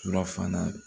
Yɔrɔ fana